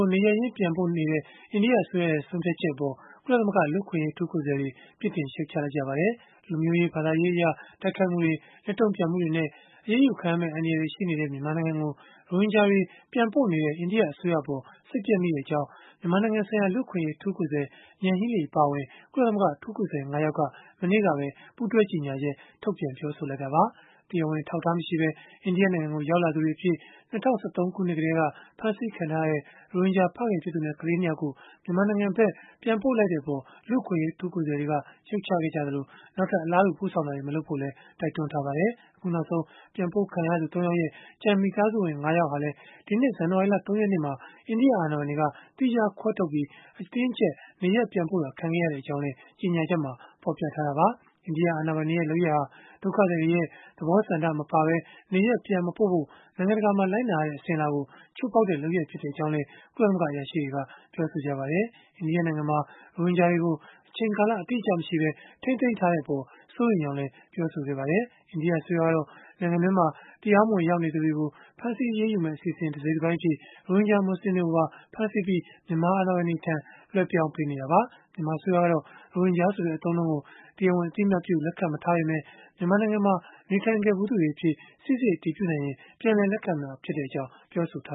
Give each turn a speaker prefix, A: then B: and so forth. A: ို နေရပ်ရင်း ပြန်ပို့မယ့် အိန္ဒိယအစိုးရရဲ့ ဆုံးဖြတ်ချက်အပေါ် ကုလသမဂ္ဂ လူ့အခွင့်အရေး အထူး ကိုယ်စားလှယ်တွေ ပြစ်တင်ရှုတ်ချလိုက်ကြပါတယ်။ လူမျိုးရေး ဘာသာရေးအရ တိုက်ခိုက်မှုတွေ၊ လက်တုံ့ပြန်မှုတွေနဲ့ အရေးယူခံရမယ့် အန္တရာယ်တွေ ရှိနေတဲ့ မြန်မာနိုင်ငံကို ရိုဟင်ဂျာတွေ ပြန်ပို့နေတဲ့ အိန္ဒိယအစိုးရအပေါ် စိတ်ပျက်မိကြောင်း မြန်မာနိုင်ငံဆိုင်ရာ လူ့အခွင့်အရေး အထူးကိုယ်စားလှယ် Yanghee Lee အပါအဝင် ကုလသမဂ္ဂ အထူးကိုယ်စားလှယ် ၅ ယောက်က မနေ့တုန်းကပဲ ပူးတွဲကြေညာချက် ထုတ်ပြန်ပြောဆိုလိုက်တာပါ။ တရားဝင် အထောက်အထား မရှိပဲ အိန္ဒိယနိုင်ငံကို ရောက်လာသူတွေအဖြစ် ၂၀၁၃ ခုနှစ်ကတည်းက ဖမ်းဆီးခံထားရတဲ့ ရိုဟင်ဂျာ ဖခင်ဖြစ်သူနဲ့ ကလေး ၂ ယောက်ကို မြန်မာနိုင်ငံဘက် ပြန်ပို့လိုက်တဲ့ အပေါ် လူ့အခွင့်အရေး အထူးကိုယ်စားလှယ်တွေက ရှုတ်ချခဲ့ကြသလို၊ နောက်ထပ် အလားတူ ပို့ဆောင်တာတွေ မလုပ်ဖို့လည်း တိုက်တွန်းထားပါတယ်။ အခုနောက်ဆုံး ပြန်ပို့ခံရသူ ၃ ယောက်ရဲ့ ကျန်မိသားစုဝင် ၅ ယောက်ဟာလည်း ဒီနှစ် ဇန်နဝါရီလ ၃ ရက်နေ့မှာ အိန္ဒိယ အာဏာပိုင်တွေက သီးခြားခွဲထုတ်ပြီး၊ အတင်းအကျပ် နေရပ် ပြန်ပို့ခံခဲ့ရကြောင်း ကြေညာချက်မှာ ဖော်ပြထားတာပါ။ အိန္ဒိယ အာဏာပိုင်တွေရဲ့ လုပ်ရပ်ဟာ ဒုက္ခသည်တွေရဲ့ သဘောဆန္ဒမပါပဲ နေရပ်ပြန်မပိ့ုဖို့ နိုင်ငံတကာမှာ လိုက်နာရတဲ့ အစဉ်အလာကို ချိုးဖောက်တဲ့ လုပ်ရပ်ဖြစ်ကြောင်းလည်း ကုလသမဂ္ဂ အရာရှိတွေက ပြောဆိုခဲ့ကြပါတယ်။ အိန္ဒိယနိုင်ငံမှာ ရိုဟင်ဂျာတွေကို အချိန်ကာလ အတိအကျမရှိပဲ ထိန်းသိမ်းထားတဲ့အပေါ် စိုးရိမ်ကြောင်းလည်း ပြောဆိုခဲ့ကြပါတယ်။ အိန္ဒိယအစိုးရကတော့ နိုင်ငံတွင်းမှာ တရားမဝင် ရောက်နေသူတွေကို ဖမ်းဆီးအရေးယူမယ့် အစီအစဉ် တစိတ်တပိုင်းအဖြစ် ရိုဟင်ဂျာ မူဆလင်တွေကိုပါ ဖမ်းဆီးပြီး၊ မြန်မာအာဏာပိုင်တွေထံ လွဲှပြောင်းပေးနေတာပါ။ မြန်မာအစိုးရကတော့ ရိုဟင်ဂျာဆိုတဲ့ အသုံးအနှုန်းကို တရားဝင် အသိအမှတ်ပြု လက်ခံမထားပေမဲ့ မြန်မာနိုင်ငံမှာ နေထိုင်ခဲ့ဖူးတွေအဖြစ် စိစစ်အတည်ပြုနိုင်ရင် ပြန်လည် လက်ခံမှာဖြစ်ကြောင်း ပြောဆိုထာ